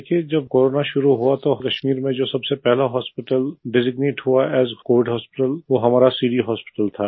देखिए जब कोरोना शुरू हुआ तो कश्मीर में जो सबसे पहला हॉस्पिटल डेजिग्नेट हुआ एएस कोविड हॉस्पिटल वो हमारा सिटी हॉस्पिटल था